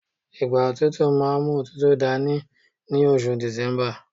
igba otutu ma n mu otutu dani ni oṣù december